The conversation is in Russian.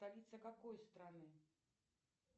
столица какой страны